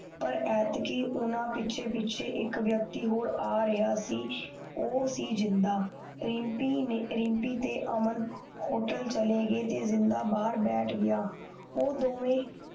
ਪਰ ਐਤਕੀ ਊਨਾ ਪਿੱਛੇ ਇਕ ਵਿਅਕਤੀ ਪਿੱਛੇ ਪਿੱਛੇ ਆ ਰਿਹਾ ਸੀ ਓ ਸੀ ਜਿੰਨਦਾ ਰਮਪੀ ਤੇ ਅਮਨ ਹੋਟਲ ਚਲੇ ਗਏ ਤੇ ਜਿੰਦਾ ਬਾਹਰ ਬੈਠ ਗਯਾ ਉਹ ਦੋਵੇ